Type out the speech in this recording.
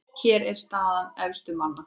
Hér er staða efstu manna